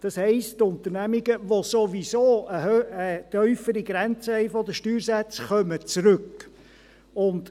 Das heisst, dass Unternehmungen zurückkommen, welche sowieso eine tiefere Grenze bei den Steuersätzen haben.